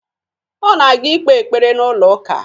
Ọ na-aga ikpe ekpere n'ụlọụka